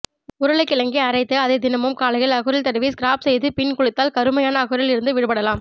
உருளைக்கிழங்கை அரைத்து அதனை தினமும் காலையில் அக்குளில் தடவி ஸ்கரப் செய்து பின் குளித்தால் கருமையான அக்குளில் இருந்து விடுபடலாம்